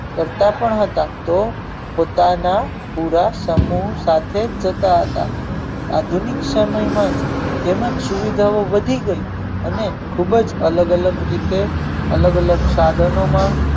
ફરતા પણ હતા તે પોતાના પુરાતનો સાથે જતા હતા આધુનિક સમય માં તેમજ સુવિધા ઓ વધી ગઈ અને ખુબ જ અલગ અલગ રીતે અલગ અલગ અલગ સાધનો માં